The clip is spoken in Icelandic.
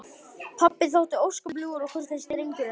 Pabbi þótti ósköp ljúfur og kurteis drengur en dulur.